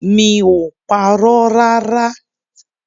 Mi ò parọ́ rárá!